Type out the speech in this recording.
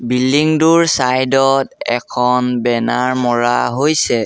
Building টোৰ side ত এখন বেনাৰ মৰা হৈছে।